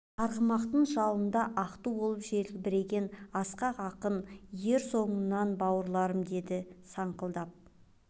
арғымақтың жалында ақ ту болып желбіреген асқақ ақын ер соңымнан бауырларым дейді саңқылдап